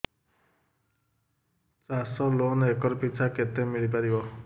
ଚାଷ loan acre ପିଛା କେତେ ମିଳି ପାରିବ